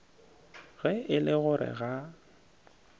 ge e le gore ga